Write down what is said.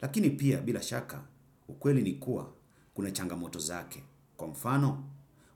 Lakini pia, bila shaka, ukweli nikua, kuna changamoto zake. Kwa mfano,